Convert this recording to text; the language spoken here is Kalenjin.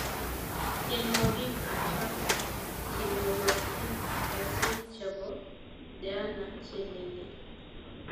Tienwokik achon chenoyotin kosir chebo diana chelele